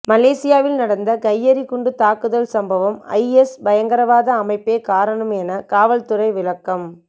மலேசியாவில் நடந்த கையெறி குண்டு தாக்குதல் சம்பவம் ஐஎஸ் பயங்கரவாத அமைப்பே காரணம் என காவல்துறை விளக்கம்